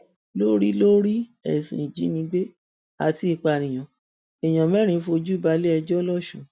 lórí lórí ẹsùn ìjínigbé àti ìpànìyàn èèyàn mẹrin fojú balẹẹjọ lọsùn